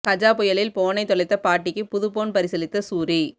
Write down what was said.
கஜா புயலில் போனை தொலைத்த பாட்டிக்கு புது போன் பரிசளித்த சூரி